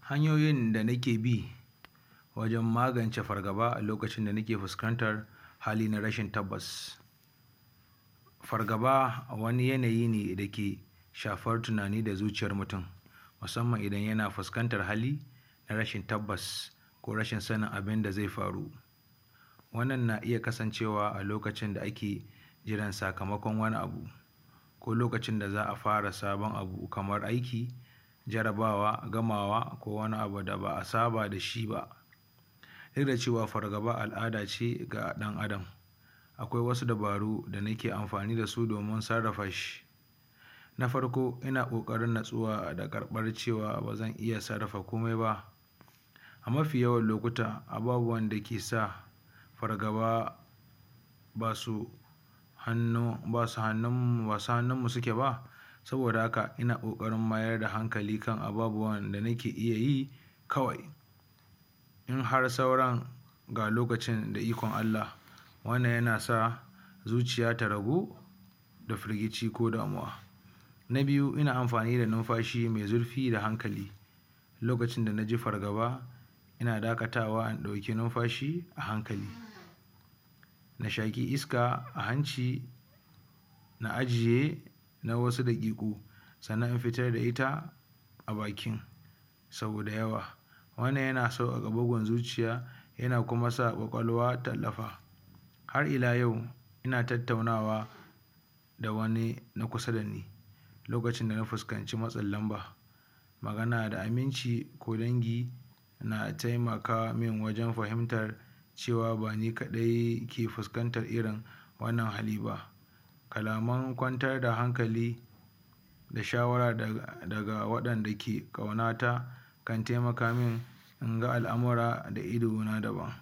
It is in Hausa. Hanyoyin da nike bi wajen magance fargaba a lokacin da nike fuskantar hali na rashin tabbas fargaba wani yanayi ne da ke shafar tunani da zuciyar mutum musamman idan yana fuskantar hali na rashin tabbas ko abin da zai faru wannan na iya kasancewa a lokacin da ake jiran sakamakon wani abu ko lokacin da za a fara sabon abu kamara aiki jarabawa gamawa ko wani abu da ba a saba da shi ba duk da cewa fargaba al'ada ce ga ɗan'adam akwai wasu dabaru da nike amfani da su domin sarrafa shi na farko ina ƙaƙarin natsuwa da karɓar cewa ba zan iya sarrafa komai ba a mafiyawan lokuta abubuwan da ke sa fargaba ba su hannau basu hannunnumu suke ba, saboda haka ina ƙoƙorin mayar da hankali zuwa ababuwan da nike iyayi kawai in har sauran ga lokacin da ikon Allah wannan yana sa zuciya ta ragu da firgici ko damuwa na biyu ina amfani da numfashi mai zurfi da hankali lokacin da na ji fargaba ina dakatawa in ɗauki numfashi a hankali na shaƙi iska a hanci na ajiye na wasu daƙiƙu sannan in ajiye ta a baki saboda yawa wannan yana sauƙaƙa bugun zuciya yana kuma sa ƙwaƙwalwa ta lafa har ila yau ina tattaunawa wani na kusa dani lokacin da na fuskanci matsin lamba magana da aminci ko dangi na taimaka min wajen fahimtar cewa ba ni kaɗai ke fuskantar wannan hali ba kalaman kwantar da hankali da shawara daga waɗanda ke ƙaunata kan taimaka min in ga al'amura da idona daban